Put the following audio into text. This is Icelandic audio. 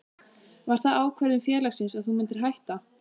Var það ákvörðun félagsins að þú myndir hætta?